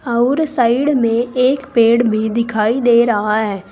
अउर साइड में एक पेड़ भी दिखाई दे रहा है।